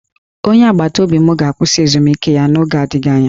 Onye agbataobi m ga-akwụsị ezumike ya n'oge adịghị anya